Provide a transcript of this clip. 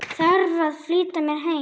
Þarf að flýta mér heim.